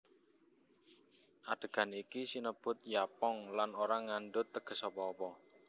Adhegan iki sinebut Yapong lan ora ngandhut teges apa apa